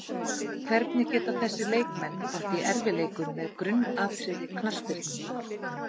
Hvernig geta þessir leikmenn átt í erfiðleikum með grunnatriði knattspyrnunnar?